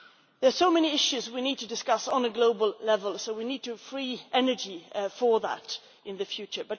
There are so many issues that we need to discuss at global level, so we need to free energy for that in the future.